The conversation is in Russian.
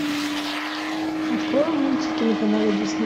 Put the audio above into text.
открой мультики на канале дисней